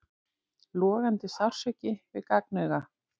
Logandi sársauki við gagnauga.